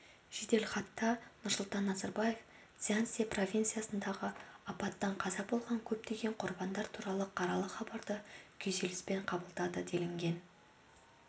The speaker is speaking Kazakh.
жеделхатта нұрсұлтан назарбаев цзянси провинциясындағы апаттан қаза болған көптеген құрбандар туралы қаралы хабарды күйзеліспен қабылдады делінген